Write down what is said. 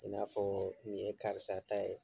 I n'a fɔɔ nin ye karisa ta ye